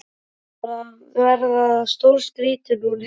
Hún var að verða stórskrýtin hún Heiða.